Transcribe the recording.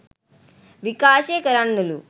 විකාශය කරන්නලු